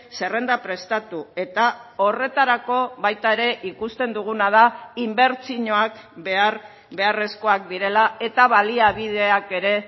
zerrenda prestatu eta horretarako baita ere ikusten duguna da inbertsioak behar beharrezkoak direla eta baliabideak ere